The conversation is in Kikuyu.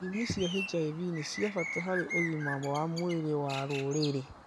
Ithimi cia HIV nĩ cia bata harĩ ũgima wa mwĩrĩ wa rũrĩrĩ